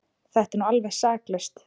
Þetta er nú alveg saklaust!